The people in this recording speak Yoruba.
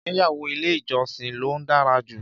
Ìgbéyàwó ile ìjọsìn ló dára jù